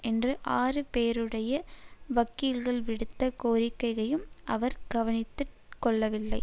என்று ஆறு பேருடைய வக்கீல்கள் விடுத்த கோரிக்கையையும் அவர் கவனத்திற் கொள்ளவில்லை